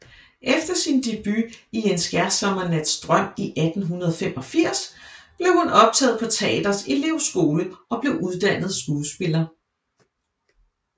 Efter sin debut i En skærsommernatsdrøm i 1885 blev hun optaget på teatrets elevskole og blev uddannet skuespiller